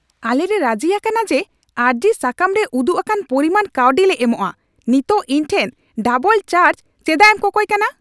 ᱟᱞᱮᱞᱮ ᱨᱟᱹᱡᱤ ᱟᱠᱟᱱᱟ ᱡᱮ ᱟᱨᱡᱤᱥᱟᱠᱟᱢ ᱨᱮ ᱩᱫᱩᱜ ᱟᱠᱟᱱ ᱯᱚᱨᱤᱢᱟᱱ ᱠᱟᱹᱣᱰᱤ ᱞᱮ ᱮᱢᱚᱜᱼᱟ ᱾ ᱱᱤᱛᱚᱜ ᱤᱧ ᱴᱷᱮᱱ ᱰᱟᱵᱚᱞ ᱪᱟᱨᱡ ᱪᱮᱫᱟᱜ ᱮᱢ ᱠᱚᱠᱚᱭ ᱠᱟᱱᱟ ?